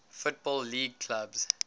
football league clubs